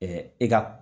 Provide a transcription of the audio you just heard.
i ka